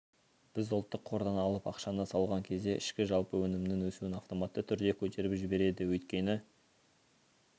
біз ұлттық қордан алып ақшаны салған кезде ішкі жалпы өнімнің өсуін автоматты түрде көтеріп жібереді өйткені